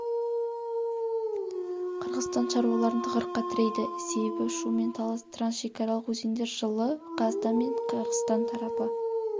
қырғызстан шаруаларын тығырыққа тірейді себебі шу мен талас трансшекаралық өзендер жылы қазақстан мен қырғызстан тарапы